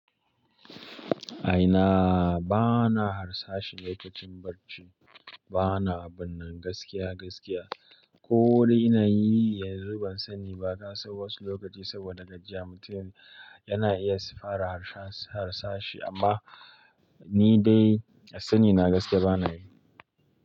A ina? Bana harsashi lokacin barci. Bana abun nan gaskiya gaskiya. Ko wuri ina yi yanzu ban sani ba. Kasan wasu lokaci saboda gajiya mutun yana iya fara harsashi amma ni dai sani na gaskiya bana yi.